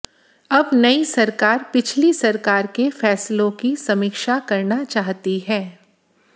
अब नई सरकार पिछली सरकार के फैसलों की समीक्षा करना चाहती है